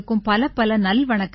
பலப்பல நல்வணக்கங்கள்